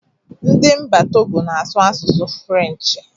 Ndị Mba Togo na asụ asụsụ Fụlenchi.